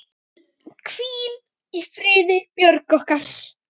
Hvíl í friði, Björg okkar.